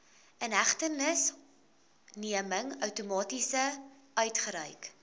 inhegtenisneming outomaties uitgereik